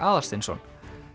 Aðalsteinsson